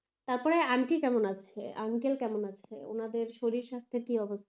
তারপরে aunty কেমন আছে? uncle কেমন আছে? উনাদের শরীর স্বাস্থ্যের কি অবস্থা?